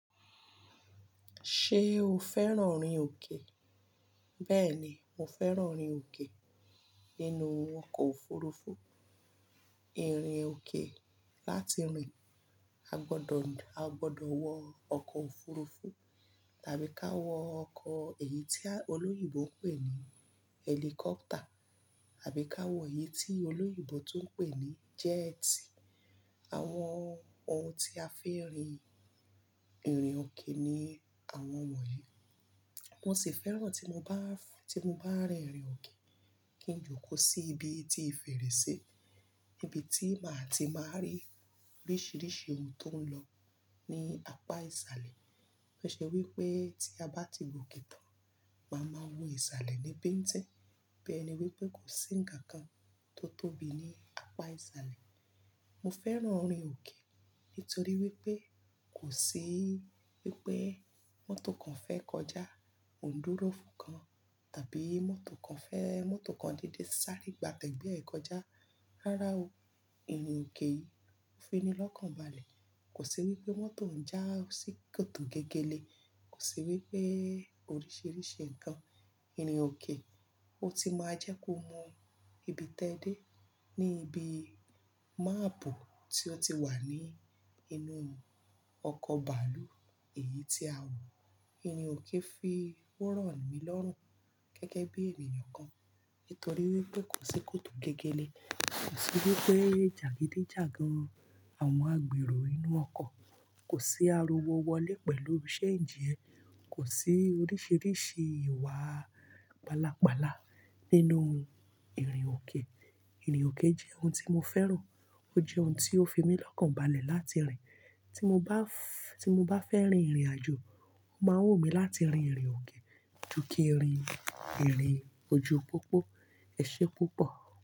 Ṣé o fẹ́ràn ìrìn òkè? Bẹ́ẹ̀ ni, mo fẹ́ràn ìrìn òkè nínú ọkọ̀ òfurufú. Ìrìn òkè láti rìn, a gbọ́dọ̀ wọ ọkọ̀ òfurufú tàbí ká wọ ọkọ̀ èyí tí olóyìnbó ń pè ní ẹ́líkọ́pátà àbí ká wọ èyí tí olóyìnbó tún ń pè ní jẹ́ẹ́tì. Àwọn ohun tí a fi ń rìn ìrìn òkè ni àwọn wọ̀nyí. Mo sì fẹ́ràn tí mo bá rin ìrìn òkè kí n jókòó sí ibi tí ìfẹ̀rẹ̀ sì, ibi tí màá ti máa rí oríṣìíríṣìí ohun tó ń lọ ní apá ìsàlẹ̀. Kàn ṣé wípé tí a bá ti gòkì tán, màá máa wo ìsàlẹ̀ ní bẹ́ẹ̀ tí, bẹ́ẹ̀ ni wípé kò sí ǹkan kan tó tóbi ní apá ìsàlẹ̀. Mo fẹ́ràn ìrìn òkè nítorí wípé kò sí wípé mọ́tò kan fẹ́ kọjá, òún dúró fún kan tàbí mọ́tò kan fẹ́, mọ́tò kan dédé sáré gba tẹ̀gbẹ́ ẹ kọjá. Rárá o. Ìrìn òkè yìí ó fi mí lọ́kàn balẹ̀. Kò sí wípé mọ́tò ń já sí kòtò gẹ́gẹ́ lé. Kò sí wípé oríṣìíríṣìí ǹkan. Ìrìn òkè ó ti máa jẹ́ kó mọ ibi tẹ́dé ní ibi máàbù tí ó ti wà ní inú ọkọ̀ bàálù. Èyí tí a wò, ìrìn òkè fi oràn mi lọ́rùn gẹ́gẹ́ bí ènìyàn kan. Nítorí wípé kò sí kòtò gẹ́gẹ́ lé, kò sí wípé jàgídíjàgan àwọn agbèrò inú ọkọ̀, kò sí ariwo wọlé pẹ̀lú ṣẹ́ǹji ẹ, kò sí oríṣìíríṣìí ìwà pálapàla nínú ìrìn òkè. Ìrìn òkè jẹ́ ohun tí mo fẹ́ràn. Ó jẹ́ ohun tí ó fi mí lọ́kàn balẹ̀ láti rìn. Tí mo bá fẹ́ rin ìrìn àjò, ó máa wù mí láti rin ìrìn òkè ju kí í rìn ìrìn ojú pópó. Ẹ̀ṣẹ́ púpọ̀